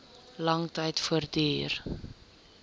lang tyd voortduur